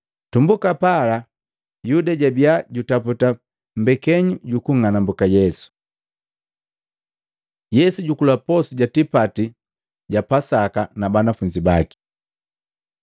Tumbuka pala, Yuda jabiya jutaputa mbekenyu jukunng'anambuka Yesu. Yesu jukula posu ja tipati ja Pasaka na banafunzi baki Maluko 14:12-21; Luka 22:7-13, 21-23; Yohana 13:21-30